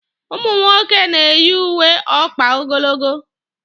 Ụmụ nwoke na-eyi uwe ọkpa ogologo.